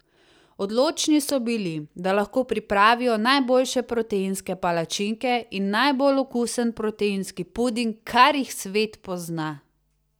Odločni so bili, da lahko pripravijo najboljše proteinske palačinke in najbolj okusen proteinski puding, kar jih svet pozna!